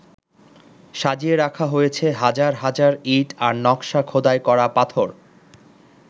সাজিয়ে রাখা হয়েছে হাজার হাজার ইঁট আর নকশা খোদাই করা পাথর।